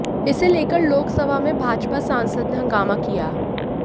इसे लेकर लोकसभा में भाजपा सांसद ने हंगामा किया